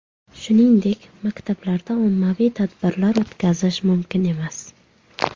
Shuningdek, maktablarda ommaviy tadbirlar o‘tkazish mumkin emas.